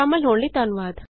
ਸ਼ਾਮਲ ਹੋਣ ਲਈ ਧੰਨਵਾਦ